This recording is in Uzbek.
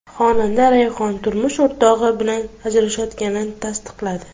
Xonanda Rayhon turmush o‘rtog‘i bilan ajrashayotganini tasdiqladi.